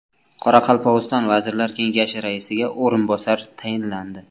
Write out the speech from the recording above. Qoraqalpog‘iston Vazirlar Kengashi raisiga o‘rinbosar tayinlandi.